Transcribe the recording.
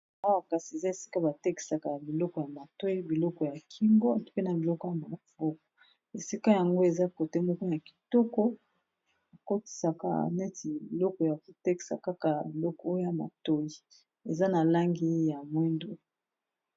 Awa kasi eza esika batekisaka ya biloko ya matoi biloko ya kingo mpena biloko awa na baboko esika yango eza kote moko ya kitoko akotisaka neti biloko ya kotekisa kaka biloko ya matoi eza na langi ya mwindu.